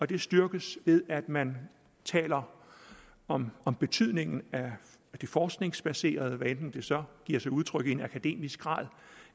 det styrkes ved at man taler om om betydningen af det forskningsbaserede hvad enten det så giver sig udtryk i en akademisk grad